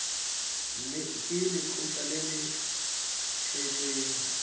ke lekgotlha le le tletseng